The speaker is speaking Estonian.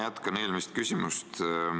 Ma jätkan eelmist küsimust.